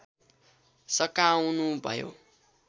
सकाउनु भयो